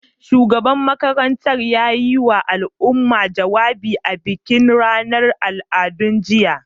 Shugaban makarantar ya yiwa al'umma jawabi a bikin ranar al'adu, jiya.